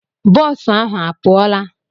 Bọọsụ ahụ a pụọla?